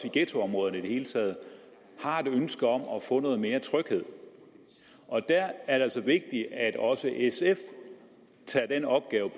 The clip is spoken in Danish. i ghettoområderne i det hele taget har et ønske om at få noget mere tryghed og der er det altså vigtigt at også sf tager den opgave